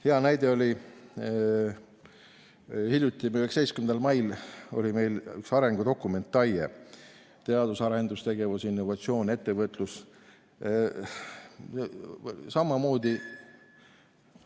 Hea näide oli see, kui hiljuti, 19. mail oli meil siin üks arengudokument, TAIE: teadus‑ ja arendustegevus, innovatsioon, ettevõtlus samamoodi ...